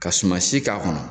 Ka suma si k'a kɔnɔ